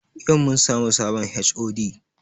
Yau mun samu sabon HOD